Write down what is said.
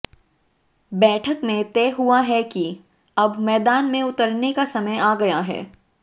बैठक में तय हुआ है कि अब मैदान में उतरने का समय आ गया है